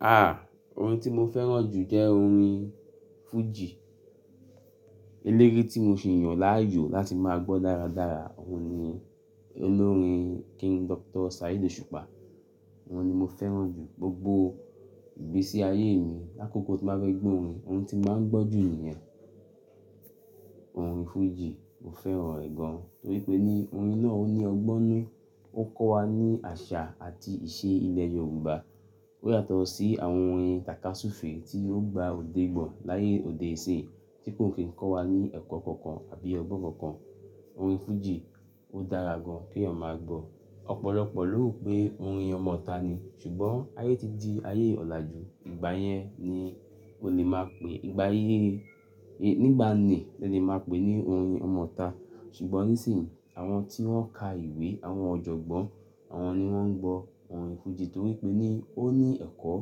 Ah! Orin tí mo fẹ́ràn jù jẹ́ orin fújì. Elére tí mo si yàn láàyò láti máa gbọ́ dáradára, òun ni olórin King Doctor Saheed Osupa. Òun ni mo fẹ́ràn jù gbogbo igbesí ayé mi. Lákokò tí bá bẹ́ gbọ́ orin, ohun tí màá gbọ́ jù ni ẹ. Orin fújì, mo fẹ́ràn ẹ̀ gan-an torí pé ní orin náà ó ní ọgbọ́nú, ó kọ́ wa ní àṣà àti ìṣe ilẹ̀ Yorùbá. Ó yàtọ̀ sí àwọn orin tàka súfèé tí ó gba òde gbọ̀ láyé òde-òní tí kò ní kí ń kọ́ wa ní ẹ̀kọ́ kankan àbí ọgbọ́n kankan. Orin fújì ó dára gan-an kí ọmọ máa gbọ́. Ọ̀pọ̀lọpọ̀ ló rò pé orin ọmọ ta ni, ṣùgbọ́n ayé ti di ayé ọ̀làjú, ìgbà yẹn ni o lè máa pè, ìgbà ayé, nígbà ní ẹ lè máa pè ní orin ọmọ ta. Ṣùgbọ́n nísìnyí, àwọn tí wọ́n ka ìwé, àwọn ọ̀jọ̀gbọ́n, àwọn ni wọ́n ń gbọ orin fújì torí pé ní ó ní ẹ̀kọ́,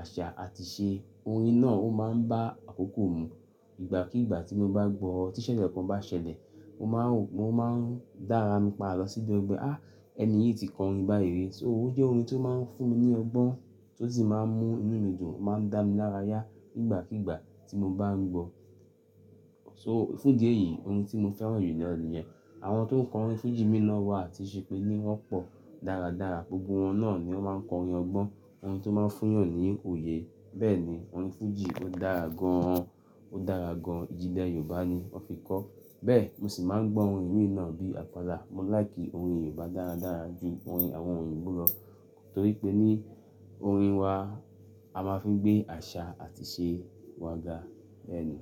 àṣà àti ìṣe. Orin náà ó máa ń bá àkókò mú. Ìgbàkígbà tí mo bá gbọ́, tí ìṣẹ̀lẹ̀ kan bá ṣẹlẹ̀, mo máa rò, ó máa ń dára mi pa lọ sí ibi ọgbẹ́. Á! Ẹni yìí tí kọ orin báyìí. So ó jẹ́ orin tó máa ń fún mi ní ọgbọ́n tó sì máa ń mú inú mi dùn, ó máa ń dá mi lára yá ìgbàkígbà tí mo bá ń gbọ́. So fún idi eyìí orin tí mo fẹ́ràn jù lọ ní ẹ. Àwọn tó ń kọ orin fújì mìí na wà ti ṣe pé ní wọ́n pọ̀ dáradára, gbogbo wọn náà ni ó máa ń kọ orin ọgbọ́n, orin tó máa ń fún èèyàn ní òye. Bẹ́ẹ̀ni, orin fújì ó dára gan-an, ó dára gan-an, ìjìlẹ̀ Yorùbá ni wọ́n fi kọ. Bẹ́ẹ̀, mo sì máa ń gbọ́ orin mìí na bí apala. Mo láìkì orin Yorùbá dáradára ju orin àwọn oyinbo lọ torí pé ní orin wa a máa fi ń gbé àṣà àti ìṣe wa ga. Bẹ́ẹ̀ ni.